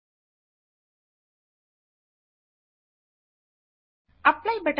పట్టిక నుండి development up to present texts line ను ఎంచుకోండి